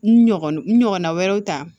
N ɲɔgɔn n ɲɔgɔnna wɛrɛw ta